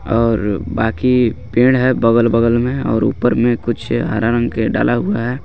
और बाकी पेड़ है बगल बगल में और ऊपर में कुछ हरा रंग के डाला हुआ है.